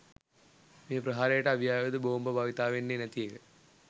මේ ප්‍රහාරයට අවි ආයුධ බෝම්බ භාවිතා වෙන්නේ නැති එක.